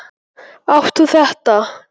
Átt þú þetta?